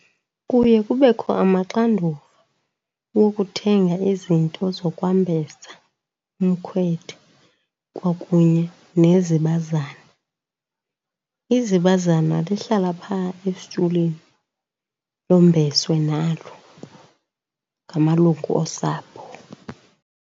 Kuye kubekho amaxanduva wokuthenga izinto zokwambesa umkhwetha kwakunye nezibazana. Izibazana lihlala phaa esitulweni lombeswe nalo ngamalungu osapho.